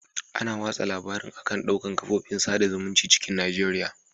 Ana watsa labarin a'kan dukan ƙafofin saɗa zumuncin cikin Najeriya